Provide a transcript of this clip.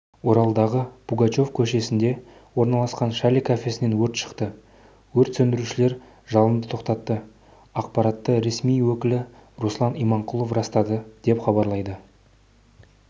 оралдағы пугачев көшесінде орналасқан шале кафесінен өрт шықты өрт сөндірушілер жалынды тоқтатты ақпаратты ресми өкілі руслан иманқұлов растады деп хабарлайды